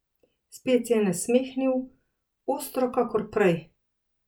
Spet se je nasmehnil, ostro kakor prej.